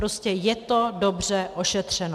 Prostě je to dobře ošetřeno.